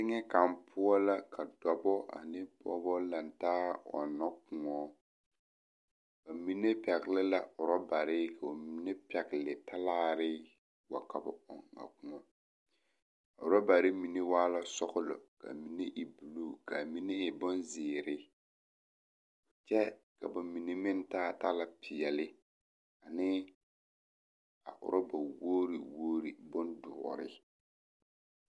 Teŋɛ kaŋ poɔ la ka dɔbɔ ane pɔgebɔ la lantaa ɔnnɔ kõɔ, bamine pɛgele la orɔbare ka bamine pɛgele talaare wa ka ba ɔŋ a kõɔ a rɔbare mine waa la sɔgelɔ ka mine e buluu ka amine e bonzeere kyɛ ka ba mine meŋ taa talapeɛle ne a orɔba wogiri wogiri bondoɔre.